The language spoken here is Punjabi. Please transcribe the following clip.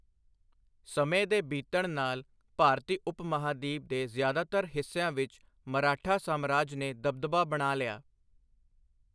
ਸਮੇਂ ਦੇ ਬੀਤਣ ਨਾਲ, ਭਾਰਤੀ ਉਪ ਮਹਾਂਦੀਪ ਦੇ ਜ਼ਿਆਦਾਤਰ ਹਿੱਸਿਆਂ ਵਿੱਚ ਮਰਾਠਾ ਸਾਮਰਾਜ ਨੇ ਦਬਦਬਾ ਬਣਾ ਲਿਆ।